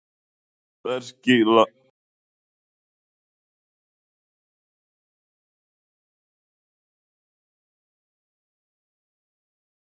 Breki Logason: Það var einhver sem borgaði hérna með, með túkalli, var það ekki?